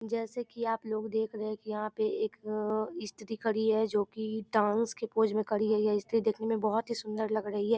जैसे की आपलोग देख रहे है की यहाँ पे एक अ स्त्री खड़ी है जो की डांस के पोज़ में खड़ी है यह स्त्री देखने में बहुत ही सुन्दर लग रही है ।